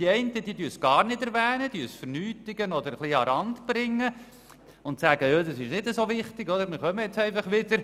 Die einen erwähnen es gar nicht, sie sagen: Das ist nicht so wichtig, wir kommen nun einfach wieder.